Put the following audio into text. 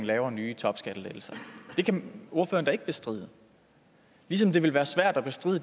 laver nye topskattelettelser det kan ordføreren da ikke bestride ligesom det ville være svært at bestride